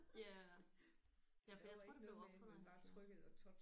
Ja. Ja for jeg tror det blev opfundet i 70